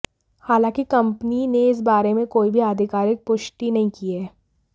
हालांकि कंपनी ने इस बारे में कोई भी आधिकारिक पुष्टि नहीं की है